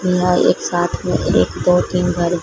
यहां एक साथ में एक दो तीन घर--